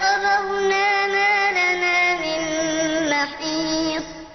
فَقَالَ الضُّعَفَاءُ لِلَّذِينَ اسْتَكْبَرُوا إِنَّا كُنَّا لَكُمْ تَبَعًا فَهَلْ أَنتُم مُّغْنُونَ عَنَّا مِنْ عَذَابِ اللَّهِ مِن شَيْءٍ ۚ قَالُوا لَوْ هَدَانَا اللَّهُ لَهَدَيْنَاكُمْ ۖ سَوَاءٌ عَلَيْنَا أَجَزِعْنَا أَمْ صَبَرْنَا مَا لَنَا مِن مَّحِيصٍ